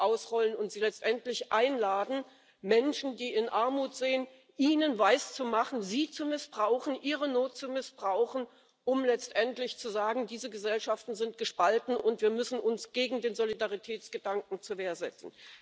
ausrollen und sie letztendlich einladen, den Menschen, die in Armut leben, etwas weiszumachen, sie zu missbrauchen, ihre Not zu missbrauchen, um letztendlich zu sagen Diese Gesellschaften sind gespalten, und wir müssen uns gegen den Solidaritätsgedanken zur Wehr setzen.